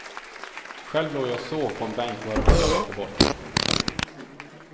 Själv låg jag och sov på en bänk bara hundra meter bort.